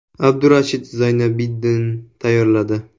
Abdurashidov Zaynobiddin tayyorladi.